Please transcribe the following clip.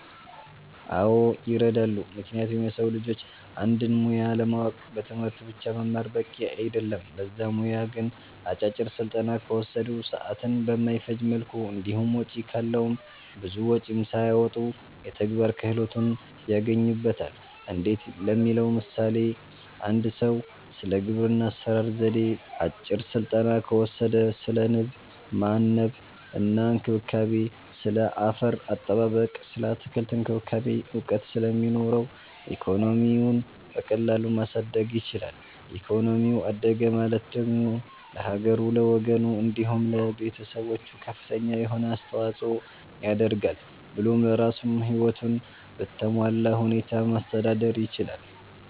አዎ ይረዳሉ ምክንያቱም የሰዉ ልጆች አንድን ሙያ ለማወቅ በትምህርት ብቻ መማር በቂ አይደለም ለዛ ሙያ ግን አጫጭር ስልጠና ከወሰዱ፣ ሰዓትን በማይፈጅ መልኩ እንዲሁም ወጪ ካለዉም ብዙ ወጪም ሳያወጡ የተግባር ክህሎትን ያገኙበታል እንዴት ለሚለዉ ለምሳሌ፦ አንድ ሰዉ ስለ ግብርና አሰራር ዜዴ አጭር ስልጠና ከወሰደ ስለ ንብ ማነብ እና እንክብካቤ፣ ስለ አፈር አጠባበቅ ስለ አትክልት እክንክብካቤ እዉቀት ስለሚኖረዉ ኢኮኖሚዉን በቀላሉ ማሳደግ ይችላል ኢኮኖሚው አደገ ማለት ደግሞ ለሀገሩ፣ ለወገኑ፣ እንዲሁም ለቤተሰቦቹ ከፍተኛ የሆነ አስተዋፅኦ ያደርጋል ብሎም ለራሱም ህይወቱን በተሟላ ሁኔታ ማስተዳደር ይችላል።